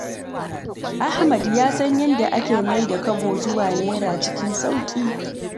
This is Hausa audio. Ahamad ya san yadda ake maida Kobo zuwa Naira cikin sauƙi.